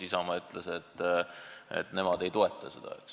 Isamaa ütles, et nemad ei toeta seda.